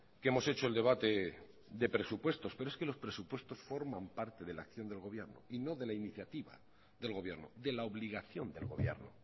que hemos hecho el debate de presupuestos pero es que los presupuestos forman parte de la acción del gobierno y no de la iniciativa del gobierno de la obligación del gobierno